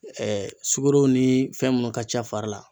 sugoro ni fɛn munnu ka ca fari la.